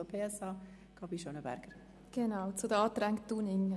Ich spreche nun zu den Anträgen Dunning.